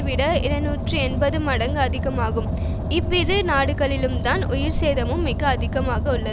விட இருநூற்றி எண்பது மடங்கும் அதிகமாகும் இவ்விரு நாடுகளிலும்தான் உயிர்சேதமும் மிக அதிகமாக உள்ளது